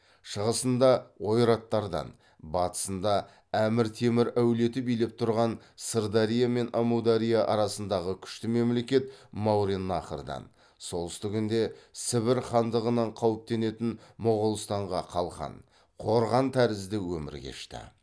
шығысында ойраттардан батысында әмір темір әулеті билеп тұрған сырдария мен әмудария арасындағы күшті мемлекет мауреннахрдан солтүстігінде сібір хандығынан қауіптенетін моғолстанға қалқан қорған тәрізді өмір кешті